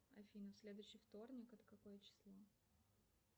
афина следующий вторник это какое число